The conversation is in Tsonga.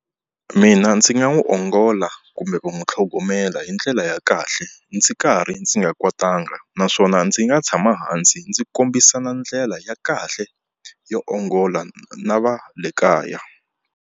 Mina ndzi nga n'wi ongola kumbe va n'wi tlhogomela hi ndlela ya kahle ndzi karhi ndzi nga kwatanga naswona ndzi nga tshama hansi ndzi kombisana ndlela ya kahle yo ongola na va le kaya.